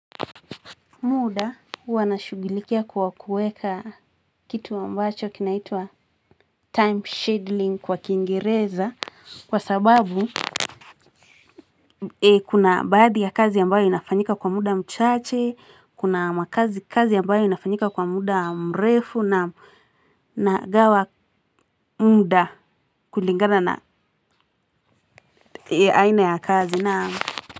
Muda huwa nashughulikia kwa kuweka kitu ambacho kinaitwa time scheduling kwa kiingereza kwa sababu kuna baadhi ya kazi ambayo inafanyika kwa muda mchache, kuna makazi kazi ambayo inafanyika kwa muda mrefu, naam. Nagawa muda kulingana na aina ya kazi naam.